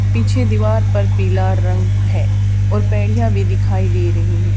पीछे दीवार पर पीला रंग है और पैड़ियां भी दिखाई दे रही हैं।